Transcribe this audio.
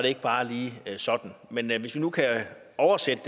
ikke bare lige sådan men hvis vi nu kan oversætte